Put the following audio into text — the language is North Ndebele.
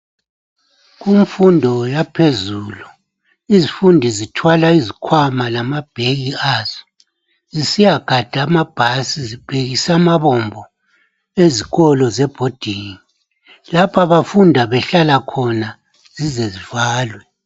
Kumfundo yaphezulu, izifundi zithwala izikhwama lamabheki azo. Zisiyagada anabhasi. Zibhekise amabombo azo ezikolo zebhodingi. Lapho abafunda behlala khona, zize zivalwe.